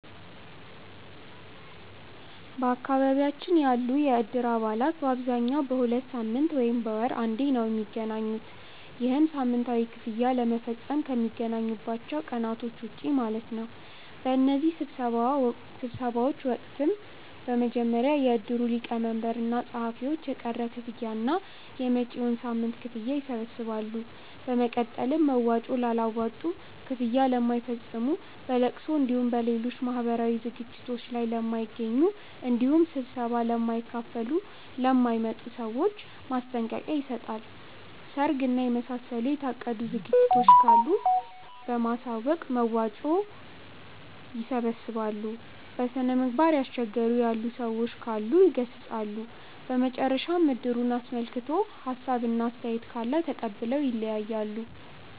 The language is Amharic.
በአካባቢያችን ያሉ የእድር አባላት በአብዛኛው በሁለት ሳምንት ወይም በወር አንዴ ነው። ይህም ሳምንታዊ ክፍያ ለመፈፀም ከሚገናኙባቸው ቀናቶች ውጪ ማለት ነው። በእነዚህ ስብሰባዎች ወቅትም በመጀመሪያ የእድሩ ሊቀመንበር እና ፀሀፊዎች የቀረ ክፍያ እና የመጪዉን ሳምንት ክፍያ ይሰበስባሉ። በመቀጠል መዋጮ ላላዋጡ፣ ክፍያ ለማይፈፅሙ፣ በለቅሶ እንዲሁም በሌሎች ማህበራዊ ዝግጅቶት ላይ ለማይገኙ እንዲሁም ስብሰባ ለማይካፈሉ ( ለማይመጡ) ሰዎች ማስጠንቀቂያ ይሰጣል። ሰርግ እና የመሳሰሉ የታቀዱ ዝግጅቶች ካሉ በማሳወቅ መዋጮ ያሰባስባሉ። በስነምግባር እያስቸገሩ ያሉ ሰዎች ካሉ ይገሰፃሉ። በመጨረሻም እድሩን አስመልክቶ ሀሳብ እና አስተያየት ካለ ተቀብለው ይለያያሉ።